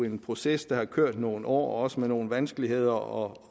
en proces der har kørt i nogle år også med nogle vanskeligheder og